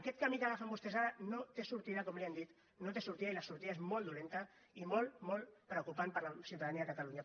aquest camí que agafen vostès ara no té sortida com li hem dit no té sortida i la sortida és molt dolenta i molt molt preocupant per a la ciutadania de catalunya